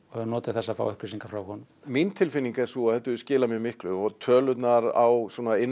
höfum notið þess að fá upplýsingar frá honum mín tilfinnig er sú að þetta hefur skilað mjög miklu tölurnar á